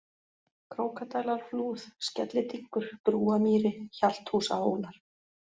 Krókadælarflúð, Skellidynkur, Brúamýri, Hjalthúsahólar